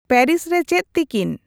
Paris ᱨᱮ ᱪᱮᱫ ᱛᱤᱠᱤᱱ